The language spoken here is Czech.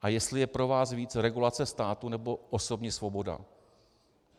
A jestli je pro vás víc regulace státu, nebo osobní svoboda.